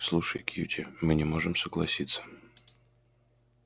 слушай кьюти мы не можем согласиться